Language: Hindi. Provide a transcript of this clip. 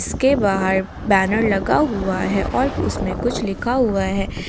इसके बाहर बैनर लगा हुआ है और उसमें कुछ लिखा हुआ है।